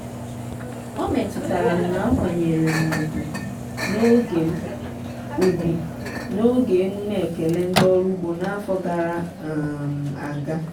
ọ metutara m na akwanyere m ugwu n'oge m ugwu n'oge emume ekele ndị ọrụ ugbo n'afọ gara um aga.